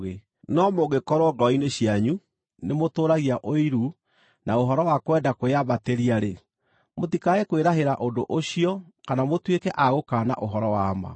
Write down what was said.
No mũngĩkorwo ngoro-inĩ cianyu nĩ mũtũũragia ũiru na ũhoro wa kwenda kwĩyambatĩria-rĩ, mũtikae kwĩrahĩra ũndũ ũcio kana mũtuĩke a gũkaana ũhoro wa ma.